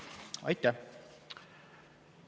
Aitäh!